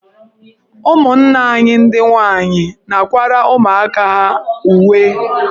Ụmụnna anyị ndị nwaanyị na-akwara ụmụaka ahụ uwe.